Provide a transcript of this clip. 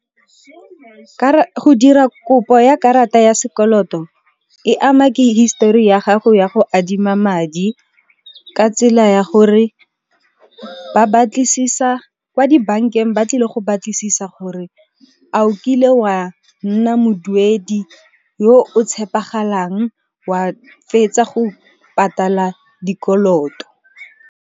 Go dira kopo ya karata ya sekoloto e ama ke hisetori ya gago ya go adima madi ka tsela ya gore, kwa dibankeng ba tlile go batlisisa gore a o kile wa nna moduedi yo o tshepegalang wa fetsa go patala dikoloto.